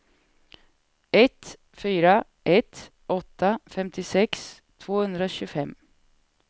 ett fyra ett åtta femtiosex tvåhundratjugofem